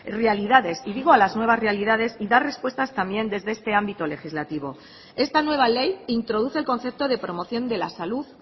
realidades y digo a las nuevas realidad y dar repuestas también desde este ámbito legislativo esta nueva ley introduce el concepto de promoción de la salud